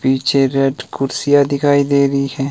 पीछे रेड कुर्सियां दिखाई दे रही हैं।